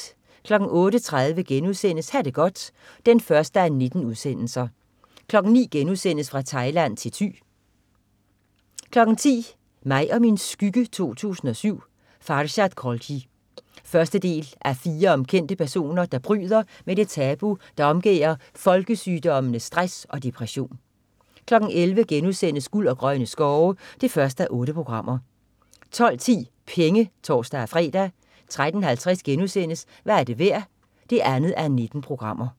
08.30 Ha' det godt 1:19* 09.00 Fra Thailand til Thy* 10.00 Mig & min skygge 2007. Farshad Kholgi. Første del af fire om kendte personer, der bryder med det tabu, der omgærder folkesygdommene stress og depression 11.00 Guld og grønne skove 1:8* 12.10 Penge (tors-fre) 13.50 Hvad er det værd 2:19*